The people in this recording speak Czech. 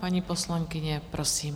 Paní poslankyně, prosím.